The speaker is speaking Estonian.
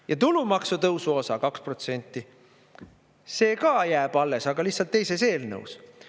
Ja tulumaksu tõusu osa 2%, see ka jääb alles, aga lihtsalt teises eelnõus.